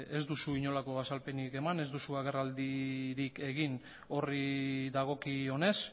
ez duzu inolako azalpenik eman ez duzu agerraldirik egin horri dagokionez